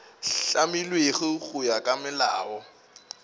hlamilwego go ya ka molao